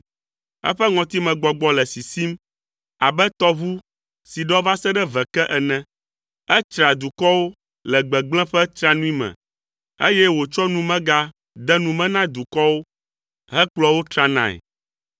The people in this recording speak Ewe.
Eƒe ŋɔtimegbɔgbɔ le sisim abe tɔʋu si ɖɔ va se ɖe ve ke ene. Etsraa dukɔwo le gbegblẽ ƒe tsranui me, eye wòtsɔ numega de nu me na dukɔwo hekplɔa wo tranae.